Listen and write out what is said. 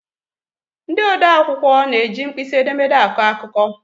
Ndị odee akwụkwọ na-eji mkpịsị edemede akọ akụkọ.